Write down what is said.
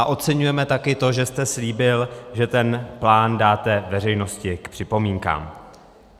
A oceňujeme taky to, že jste slíbil, že ten plán dáte veřejnosti k připomínkám.